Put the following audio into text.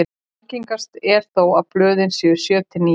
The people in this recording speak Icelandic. algengast er þó að blöðin séu sjö til níu